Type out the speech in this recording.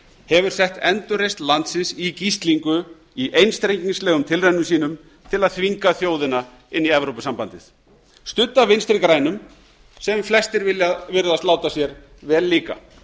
hefur sett endurreisn landsins í gíslingu í einstrengingslegum tilraunum sínum til að þvinga þjóðina inn í evrópusambandið studd af vinstri grænum sem flestir virðast láta sér vel líka